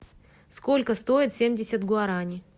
сколько стоит семьдесят гуарани